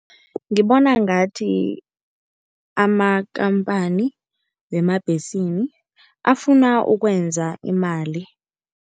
Ngibona ngathi amakampani wemabhesini afuna ukwenza imali.